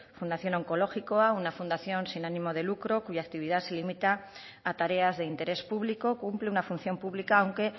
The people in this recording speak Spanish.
fundación onkologikoa una fundación sin ánimo de lucro cuya actividad se limita a tareas de interés público cumple una función pública aunque